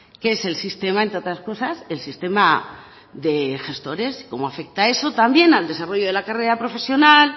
que es el sistema entre otras cosas el sistema de gestores cómo afecta eso también al desarrollo de la carrera profesional